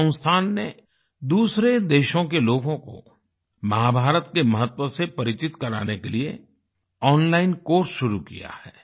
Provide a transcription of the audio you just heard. इस संस्थान ने दूसरे देशों के लोगों को महाभारत के महत्व से परिचित कराने के लिए ओनलाइन कोर्स शुरू किया है